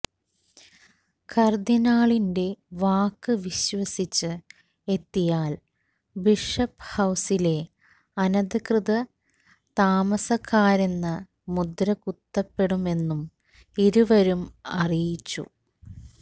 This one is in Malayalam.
കർദ്ദിനാളിന്റെ വാക്ക് വിശ്വസിച്ച് എത്തിയാൽ ബിഷപ്പ് ഹൌസിലെ അനധികൃത താമസക്കാരെന്ന് മുദ്ര കുത്തപ്പെടുമെന്നും ഇരുവരും അറിയിച്ചു